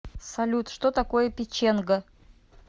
салют что такое печенга